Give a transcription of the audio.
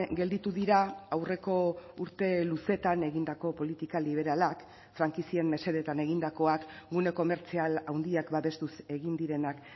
gelditu dira aurreko urte luzetan egindako politika liberalak frankizien mesedetan egindakoak gune komertzial handiak babestuz egin direnak